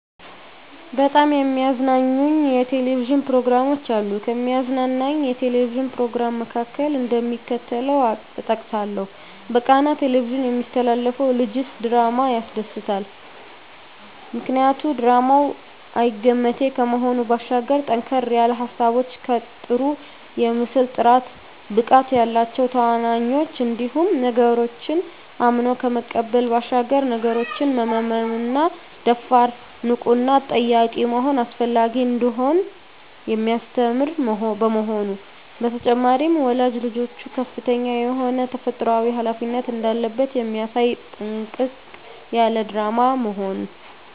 በጣም የሚያዝናኑኝ የ"ቴሌቪዥን" ፕሮግራሞች አሉ፣ ከሚያዝናናኝ የ"ቴሌቪዥን" "ፕሮግራም" መካከል፣ እደሚከተለው እጠቅሳለሁ በቃና "ቴሌቪዥን" የሚተላለፈው ልጀስ ድራማ ያስደስተኛል። ምክንያቱ ድራማው አይገመቴ ከመሆኑ ባሻገር ጠንከር ያሉ ሀሳቦች ከጥሩ የምስል ጥራት፣ ብቃት ያላቸው ተዋናኞች እንዲሁም ነገሮችን አምኖ ከመቀበል ባሻገር ነገሮችን መመርመርና ደፋር፣ ንቁና ጠያቂ መሆን አስፈላጊ እንደሆነ የሚያስተምር በመሆኑ። በተጨማሪም ወላጅ ልጆቹ ከፍተኛ የሆነ ተፈጥሮአዊ ሀላፊነት እንዳለበት የሚያሳይ ጥንቅቅ ያለ ድራማ በመሆኑ።